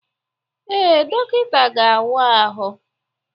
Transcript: Ee, dọkịta ga-awa ahụ.